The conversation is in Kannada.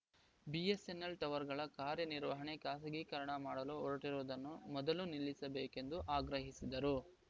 ಬಿಎಸ್‌ಎನ್‌ಎಲ್‌ ಟವರ್‌ಗಳ ಕಾರ್ಯ ನಿರ್ವಹಣೆ ಖಾಸಗೀಕರಣ ಮಾಡಲು ಹೊರಟಿರುವುದನ್ನು ಮೊದಲು ನಿಲ್ಲಿಸ ಬೇಕೆಂದು ಆಗ್ರಹಿಸಿದರು